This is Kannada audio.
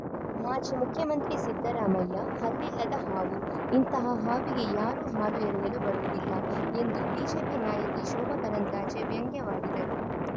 ಮಾಜಿ ಮುಖ್ಯಮಂತ್ರಿ ಸಿದ್ದರಾಮಯ್ಯ ಹಲ್ಲಿಲ್ಲದ ಹಾವು ಇಂತಹ ಹಾವಿಗೆ ಯಾರೂ ಹಾಲು ಎರೆಯಲು ಬರುವುದಿಲ್ಲ ಎಂದು ಬಿಜೆಪಿ ನಾಯಕಿ ಶೋಭಾ ಕರಂದ್ಲಾಜೆ ವ್ಯಂಗ್ಯವಾಡಿದರು